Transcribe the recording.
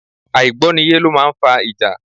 Àìgbọ́niyé lọ máa ń fa ìjà.